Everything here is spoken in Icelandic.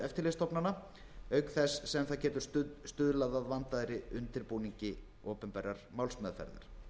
eftirlitsstofnana auk þess sem það getur stuðlað að vandaðri undirbúningi opinberrar málsmeðferðar